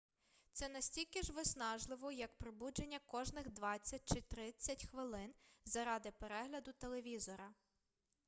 це настільки ж виснажливо як пробудження кожних двадцять чи тридцять хвилин заради перегляду телевізора